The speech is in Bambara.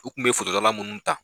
U tun bɛ forodtala minnu ta